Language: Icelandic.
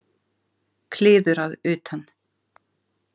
Kliður að utan.